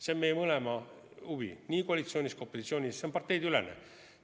See on meie mõlema huvi nii koalitsioonis kui opositsioonis, see on parteideülene.